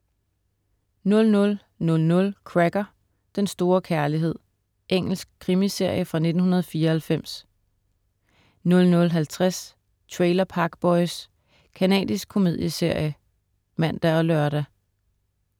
00.00 Cracker: Den store kærlighed. Engelsk krimiserie fra 1994 00.50 Trailer Park Boys. Canadisk komedieserie (man og lør)